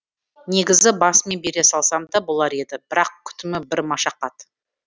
негізі басымен бере салсам да болар еді бірақ күтімі бір машақат